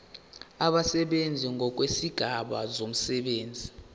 abasebenzi ngokwezigaba zomsebenzi